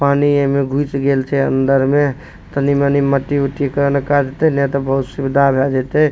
पानी एमे घुस गेयल छे अंदर में तनी मनी मट्टी-उट्टी के काज में सुविधा भय जेतइ --